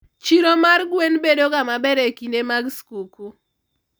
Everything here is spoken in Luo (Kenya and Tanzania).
chiro mar gwen bedo ga maber e kinde mag skuku